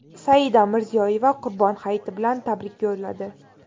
Saida Mirziyoyeva Qurbon hayiti bilan tabrik yo‘lladi.